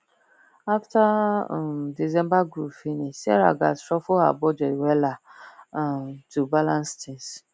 after um december groove finish sarah gatz shuffle her budget wella um to balance tins